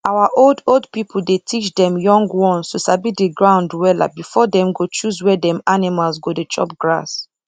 our old old pipu dey teach dem young ones to sabi the ground wella before dem go choose where dem animal go dey chop grass